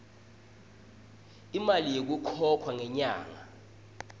imali lekhokhwa ngenyanga